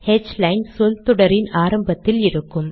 ஹ்லைன் சொல் தொடரின் ஆரம்பத்தில் இருக்கும்